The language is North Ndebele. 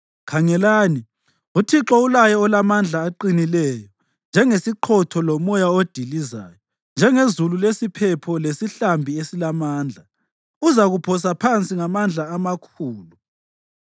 Khangelani, uThixo ulaye olamandla oqinileyo. Njengesiqhotho lomoya odilizayo, njengezulu lesiphepho lesihlambi esilamandla, uzakuphosa phansi ngamandla amakhulu.